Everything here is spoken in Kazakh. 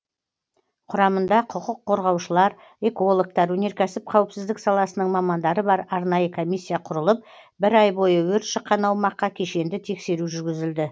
құрамында құқық қорғаушылар экологтар өнеркәсіп қауіпсіздік саласының мамандары бар арнайы комиссия құрылып бір ай бойы өрт шыққан аумаққа кешенді тексеру жүргізілді